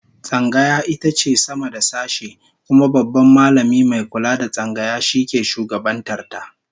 Tsangaya ita ke sama da sashe, kuma Babban Mallami mai kula da Tsangaya shi ke shugabantar ta